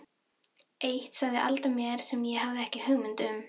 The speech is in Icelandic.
Eitt sagði Alda mér sem ég hafði ekki hugmynd um.